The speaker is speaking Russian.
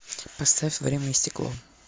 поставь время и стекло